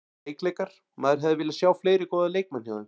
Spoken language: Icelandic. Veikleikar: Maður hefði viljað sjá fleiri góða leikmenn hjá þeim.